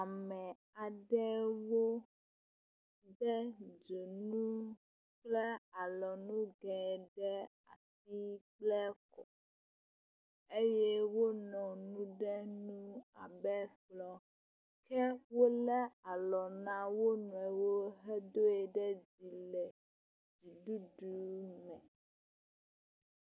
Ame aɖewo de dzonu kple alɔnugɛ ɖe asi kple kɔ eye wonɔ nu ɖe nu abe kplɔ̃ ke wolé alɔ na wonuiwo hedoe ɖe dzi le dziɖuɖu me.